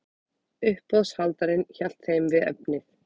Uppboðshaldarinn hélt þeim við efnið.